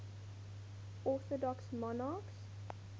orthodox monarchs